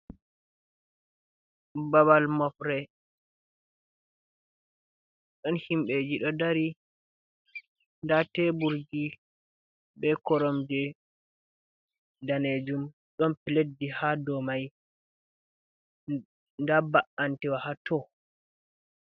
Babal mofre, ɗon himɓeji ɗo dari, nda teburgi be koromje ɗanejum ɗon leddi ha dou mai, nda ba’antiwa ha to.